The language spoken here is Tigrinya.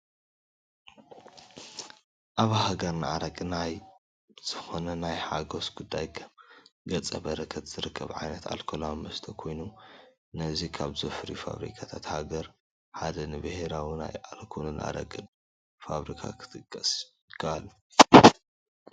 ኣብ ሃገርና ኣረቂ ናብ ዝኾነ ናይ ሓጐስ ጉዳይ ከም ገፀ በረከት ዝቐርብ ዓይነት ኣልኮላዊ መስተ ኮይኑ ነዚ ካብ ዘፍርዩ ፋብሪካት ሃገር ሓደ ንብሄራዊ ናይ ኣልኮልን ኣረቂን ፋብሪካ ክንጠቅስ ንኽእል፡፡